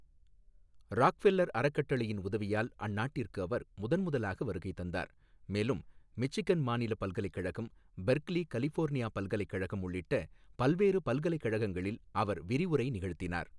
Rockefeller அறக்கட்டளையின் உதவியால் அந்நாட்டிற்கு அவர் முதன் முதலாக வருகை தந்தார், மேலும் மிச்சிகன் மாநில பல்கலைக்கழகம், பெர்க்லி கலிபோர்னியா பல்கலைக்கழகம் உள்ளிட்ட பல்வேறு பல்கலைக்கழகங்களில் அவர் விரிவுரை நிகழ்த்தினார்.